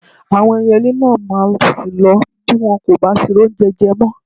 Àwọn ẹyẹlé náà máa ṣí lọ bí wọn kò bá ti rí oúnje je mọ́.